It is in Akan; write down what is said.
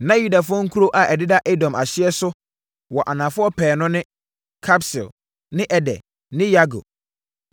Na Yudafoɔ nkuro a ɛdeda Edom ahyeɛ so wɔ anafoɔ pɛɛ no ne: Kabseel ne Eder ne Yagur,